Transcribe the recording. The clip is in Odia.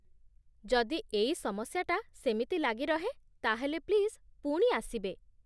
ଯଦି ଏଇ ସମସ୍ୟାଟା ସେମିତି ଲାଗି ରହେ ତା'ହେଲେ ପ୍ଲିଜ୍ ପୁଣି ଆସିବେ ।